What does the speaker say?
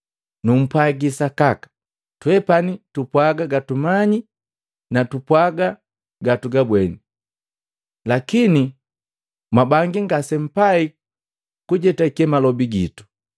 Nugupwaji sakaka, twepani tupwaaga gatugamanyi nu tupwaga gatagabweni, lakini mwabangi ngasempai kujetake malobi gitu.